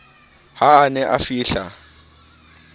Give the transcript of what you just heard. ha a ne a fihla